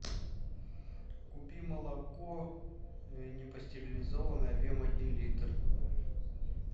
купи молоко непастеризованное объем один литр